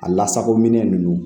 A lasako minɛn nunnu